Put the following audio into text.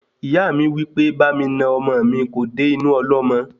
Ìyá mi wípé bámi nà ọmọ mí kò dé inú ọlọ́mọ